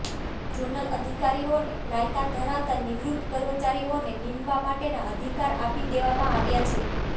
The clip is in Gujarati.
ઝોનલ અધિકારીઓને લાયકાત ધરાવતા નિવૃત્ત કર્મચારીઓને નિમવા માટેના અધિકાર આપી દેવામાં આવ્યા છે